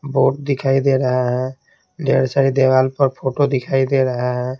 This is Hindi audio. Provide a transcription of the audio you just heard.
बोट दिखाई दे रहा है ढेर सारी देवाल पर फोटो दिखाई दे रहा है।